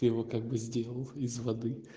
ты его как бы сделал из воды